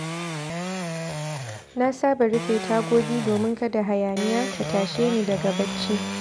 Na saba rufe tagogi domin kada hayaniya ta tashe ni daga bacci.